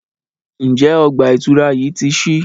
Njé ọgba-itura yí tí sí?